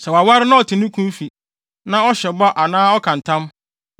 “Sɛ waware na ɔte ne kunu fi na ɔhyɛ bɔ anaa ɔka ntam,